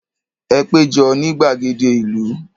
Ẹ pé jọ ní gbàgede ìlú.